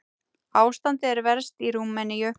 Ástandið er verst í Rúmeníu.